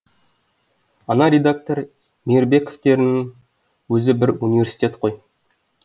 ана редактор мейірбековтеріңнің өзі бір университет қой